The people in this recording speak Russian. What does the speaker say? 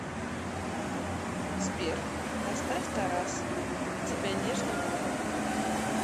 сбер поставь тарас тебя нежно грубо